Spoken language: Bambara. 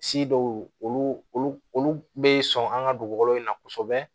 olu olu be sɔn an ŋa dugukolo in na kosɛbɛ